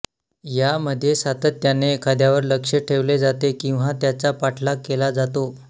यामध्ये सातत्याने एखाद्यावर लक्ष ठेवले जाते किंवा त्याचा पाठलाग केला जातो